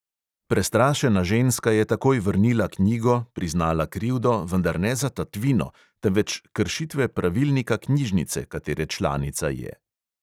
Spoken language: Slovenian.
Prestrašena ženska je takoj vrnila knjigo, priznala krivdo, vendar ne za tatvino, temveč kršitve pravilnika knjižnice, katere članica je.